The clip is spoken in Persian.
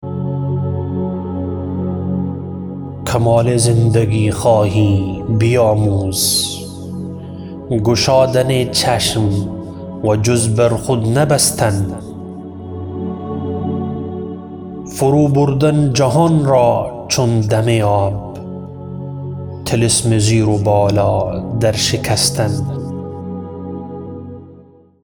کمال زندگی خواهی بیاموز گشادن چشم و جز بر خود نبستن فرو بردن جهان را چون دم آب طلسم زیر و بالا در شکستن